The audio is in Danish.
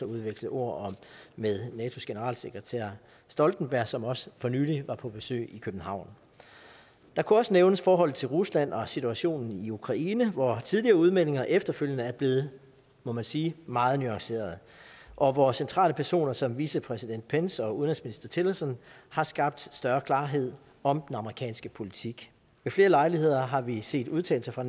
udveksle ord om med natos generalsekretær stoltenberg som også for nylig var på besøg i københavn der kunne også nævnes forholdet til rusland og situationen i ukraine hvor tidligere udmeldinger efterfølgende er blevet må man sige meget nuancerede og hvor centrale personer som vicepræsident pence og udenrigsminister tillerson har skabt større klarhed om den amerikanske politik ved flere lejligheder har vi set udtalelser fra